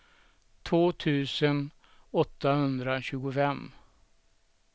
två tusen åttahundratjugofem